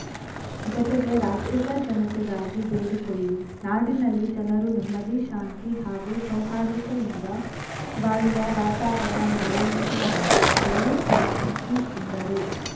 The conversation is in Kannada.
ಜೊತೆಗೆ ರಾಜ್ಯದ ಜನತೆಗಾಗಿ ಬೇಡಿಕೊಳ್ಳಿ ನಾಡಿನಲ್ಲಿ ಜನರು ನೆಮ್ಮದಿ ಶಾಂತಿ ಹಾಗೂ ಸೌಹಾರ್ದತೆಯಿಂದ ಬಾಳುವ ವಾತಾವರಣ ನೆಲೆಯುಸುವಂತೆಯೂ ಪ್ರಾರ್ಥಿಸಿ ಎಂದರು